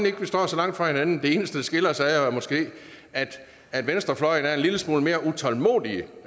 ikke at vi står så langt fra hinanden det eneste der skiller os ad er måske at venstrefløjen er en lille smule mere utålmodig